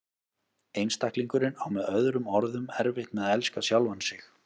Einstaklingurinn á með öðrum orðum erfitt með að elska sjálfan sig.